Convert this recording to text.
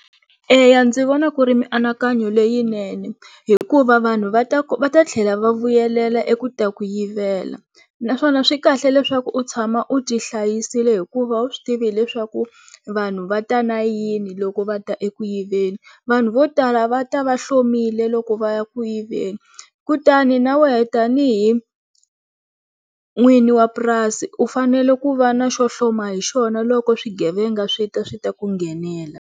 Eya ndzi vona ku ri mianakanyo leyinene hikuva vanhu va ta va ta tlhela va vuyelela eku ta ku yivela naswona swi kahle leswaku u tshama u ti hlayisile hikuva a wu swi tivi leswaku vanhu va ta na yini loko va ta eku yiveni vanhu vo tala va ta va hlomile loko va ya ku yiveni kutani na wehe tanihi n'winyi wa purasi u fanele ku va na xo hloma hi xona loko swigevenga swi ta swi ta ku nghenela.